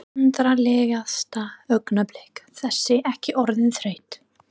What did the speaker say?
Vandræðalegasta augnablik: Þessi ekki orðin þreytt?